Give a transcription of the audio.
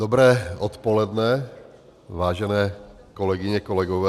Dobré odpoledne, vážené kolegyně, kolegové.